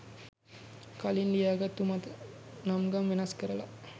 කලින් ලියා ගත්තු මත නම් ගම් වෙනස් කරලා